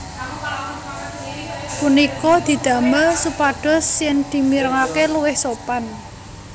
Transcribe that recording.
Punika didamel supados yen dimirengake luwih sopan